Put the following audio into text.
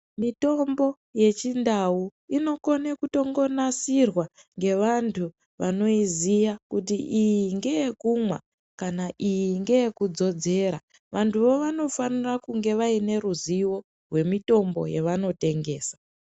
Mitombo yechindau inokone kungonasirwa ngevantu vanoiziya kuti iyi ngeyekumwa kana iyi ngeye kudzodzera vantuvo vanofanira kunge vaine ruzivo we wemutombo wavanotengesa .